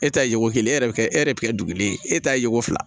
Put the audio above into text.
E ta ye ko kelen e yɛrɛ bɛ kɛ e yɛrɛ bɛ kɛ dugulen e ta ye ko fila